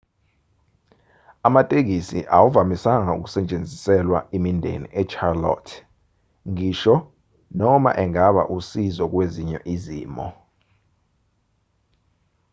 amatekisi awavamisanga ukusetshenziswa imindeni echarlotte ngisho noma engaba usizo kwezinye izimo